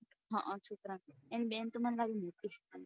હમ છોકરાં ની બેન